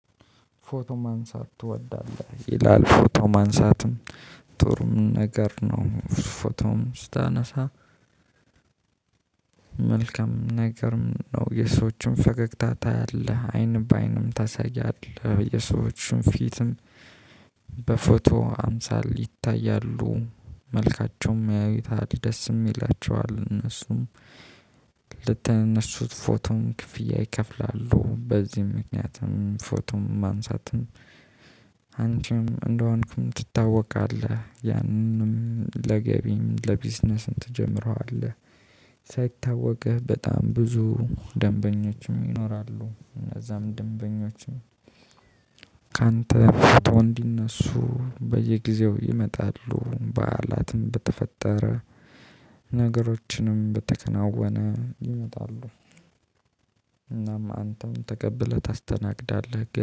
ፎቶ ማንሳት ትወዳለህ ይላል ፎቶ ማንሳትም ጥሩም ነገር ነው። ፎቶም ስታነሳ መልካም ነገርም ነው የሰዎችን ፈገግታ ታያለህ አይን በአይንም ታሳያለህ የሰዎችን ፊትም። በፎቶ አምሳል ይታያሉ መልካቸውም ያዩታል ደስም ይላቸዋል። እነሱም ልተነሱት ፎቶም ክፍያ ይከፍላሉ። በዚህም ምክንያትም ፎቶም ማንሳትም አንቺም እንደሆንኩም ትታወቃለህ ያንንም ለገቢም ለቢዝነስም ትጀምረዋለህ። ሳይታወቅህ በጣም ብዙ ደንበኞችም ይኖራሉ። እነዛም ደንበኞችም ካንተ ፍቶ እንዲነሱ በየጊዜው ይመጣሉ። በዓላትም በተፈጠረ ነገሮችንም በተከናወነ ይመጣሉ። እናም አንተም ተቀብለህ ታስተናግዳለህ